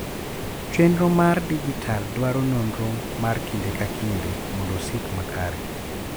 chenro mar dijital dwaro nonro mar kinde ka kinde mondo osik makare